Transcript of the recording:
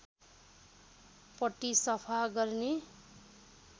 पट्टी सफा गर्ने